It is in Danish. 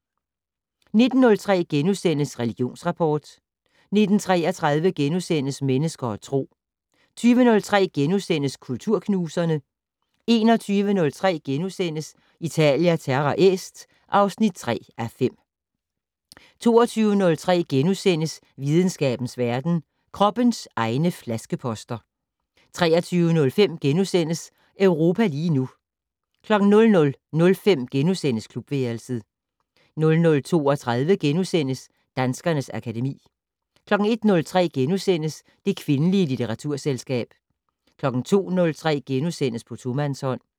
19:03: Religionsrapport * 19:33: Mennesker og Tro * 20:03: Kulturknuserne * 21:03: Italia Terra Est (3:5)* 22:03: Videnskabens verden: Kroppens egne flaskeposter * 23:05: Europa lige nu * 00:05: Klubværelset * 00:32: Danskernes akademi * 01:03: Det kvindelige litteraturselskab * 02:03: På tomandshånd *